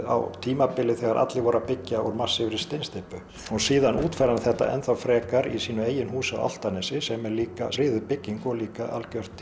á tímabili þegar allir voru að byggja úr massífri steinsteypu og síðan útfærði hann þetta frekar í sínu eigin húsi á Álftanesi sem er líka friðuð bygging og líka algjört